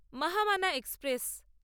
Mahamana express